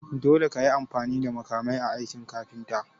Dole kayi amfani da makamai a aikin kafinta.